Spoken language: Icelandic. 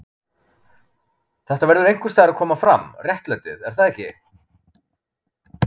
Þetta verður einhvers staðar að koma fram, réttlætið, er það ekki?